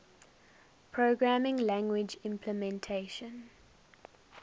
programming language implementation